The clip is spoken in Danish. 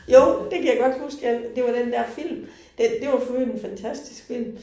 Jo, det kan jeg godt huske ja, det var den der film. Den det var for i øvrigt en fantastisk film